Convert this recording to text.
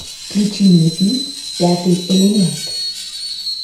включи мне фильм пятый элемент